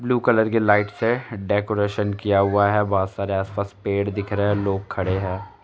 Blue colour की light से decoration किया हुआ है बहुत सारे आस पास पेड़ दिख रहे है लोग खड़े है।